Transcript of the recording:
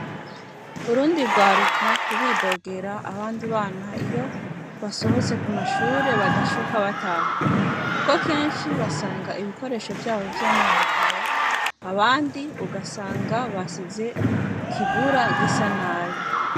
Urundi rwaruka ruridogera abandi bana iyo basohotse ku mashure badashoka bataha. Kuko kenshi basanga ibikoresho vyabo vyononekaye, abandi ugasanga basize ikigura gisa nabi.